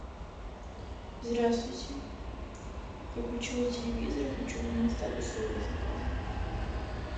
здравствуйте я включила телевизор и хочу узнать статус своего заказа